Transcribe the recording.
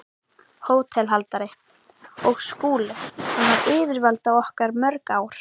HÓTELHALDARI: Og Skúli- hann var yfirvald okkar í mörg ár.